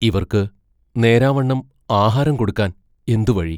ഇവർക്ക് നേരാംവണ്ണം ആഹാരം കൊടുക്കാൻ എന്തു വഴി?